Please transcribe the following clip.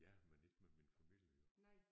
Ja men ikke med min familie